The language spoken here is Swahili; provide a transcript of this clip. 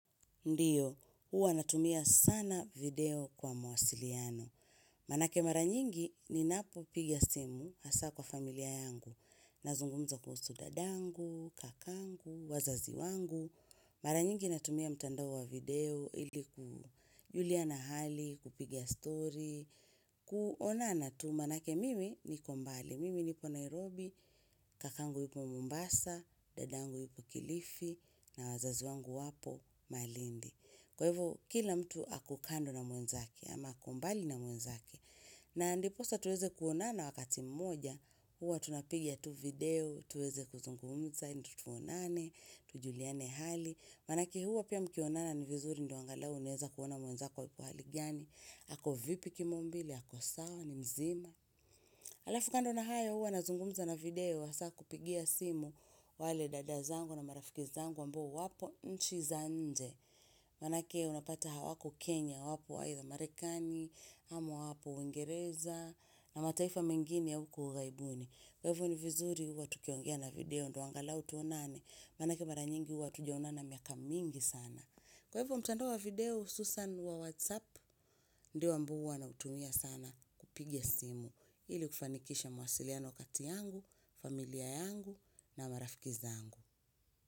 Ndiyo, huwa natumia sana video kwa mawasiliano. Manake mara nyingi ninapopiga simu, hasa kwa familia yangu. Nazungumza kuhusu dadangu, kakangu, wazazi wangu. Mara nyingi natumia mtandao wa video, ilikujulia na hali, kupiga story, kuonana tu manake mimi niko mbali. Mimi nipo Nairobi, kakangu yuko Mombasa, dadangu yuko Kilifi, na wazazi wangu wapo Malindi. Kwa hivyo kila mtu ako kando na mwenzaki ama ako mbali na mwenzake na ndiposa tuweze kuonana wakati mmoja huwa tunapiga tu video tuweze kuzungumza ndio tuonane, tujuliane hali manake huwa pia mkionana ni vizuri ndio angalau unaweza kuona mwenzako ako hali gani ako vipi kimaumbile, ako sawa, ni mzima Alafu kando na hayo huwa nazungumza na video hasa kupigia simu wale dada zangu na marafiki zangu ambao wapo nchi za nje Manake unapata hawako Kenya wapo either Marekani, ama wapo Uingereza na mataifa mengini ya huko ughaibuni. Kwa hivyo ni vizuri huwa tukiongea na video ndo angalau tuonane. Manake mara nyingi huwa hatujaonana miaka mingi sana. Kwa hivyo mtandao wa video hususan wa whatsapp ndio ambao huwa natumia sana kupiga simu. Ili kufanikisha mawasiliano kati yangu, familia yangu na marafiki zangu.